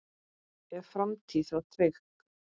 Er framtíð þá trygg?